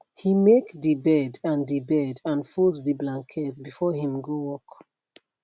he make de bed and de bed and fold de blanket before him go work